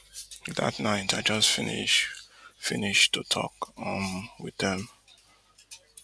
dat night i just finish finish to tok um wit dem